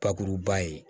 Bakuruba ye